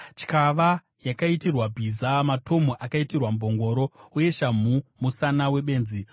Tyava yakaitirwa bhiza, matomu akaitirwa mbongoro, uye shamhu musana webenzi!